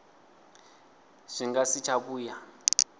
zwi nga si tsha vhuya